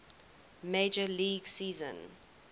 major league season